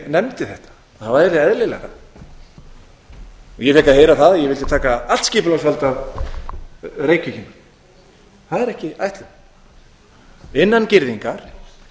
nefndi þetta að það væri eðlilegra ég fékk að heyra það að ég vildi taka allt skipulagsvaldið af reykvíkingum það er ekki ætlunin innan girðingar